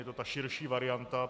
Je to ta širší varianta.